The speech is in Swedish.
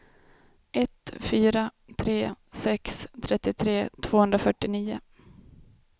ett fyra tre sex trettiotre tvåhundrafyrtionio